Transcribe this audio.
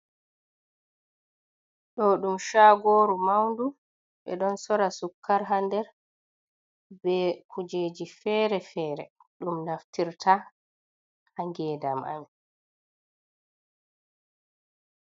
Ɗo ɗum chagoru maundu ɓe ɗon sora sukkar haa der be kujeji fere-fere ɗum naftirta haa ngedam amin.